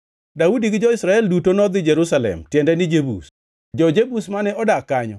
Daudi gi jo-Israel duto nodhi Jerusalem (tiende ni, Jebus). Jo-Jebus mane odak kanyo